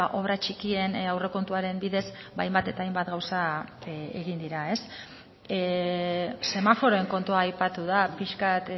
obra txikien aurrekontuaren bidez hainbat eta hainbat gauza egin dira semaforoen kontua aipatu da pixkat